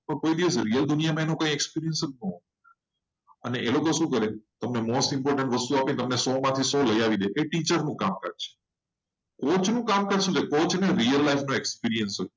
કોઈ દિવસ real દુનિયામાં એમને એચ ન હોય. અને એ લોકો તમને most important વસ્તુ આપે અને સો માંથી સો આપી દે. એ ટીચરનું કામકાજ ટોચનું કામ શું હોય કોચનો real life નો experience હોય.